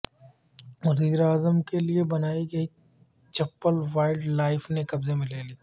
وزیر اعظم کے لیے بنائی گئی چپل وائلڈ لائف نے قبضے میں لے لی